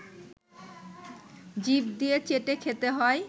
জিভ দিয়ে চেটে খেতে হয়